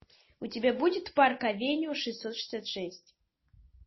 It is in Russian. у тебя будет парк авеню шестьсот шестьдесят шесть